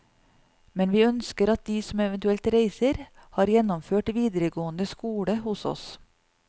Men vi ønsker at de som eventuelt reiser, har gjennomført videregående skole hos oss.